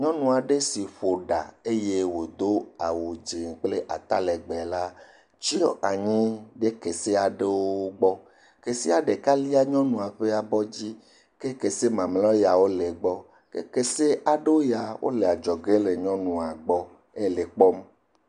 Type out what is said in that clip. nyɔŋu aɖe si ƒo ɖa eye wodó awu dzɛ̃ kple atalegbe la tsyɔ anyi ɖe kese aɖewo gbɔ kesea ɖeka líe nyɔŋuɔ ƒe abɔdzi ke kese mamliawo ya le gbɔ kese aɖewo ya wóle adzɔge le nyɔŋua kpɔm